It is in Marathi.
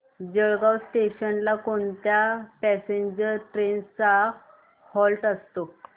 जळगाव जंक्शन ला कोणत्या पॅसेंजर ट्रेन्स चा हॉल्ट असतो